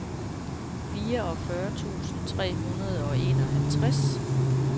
fireogfyrre tusind tre hundrede og enoghalvtreds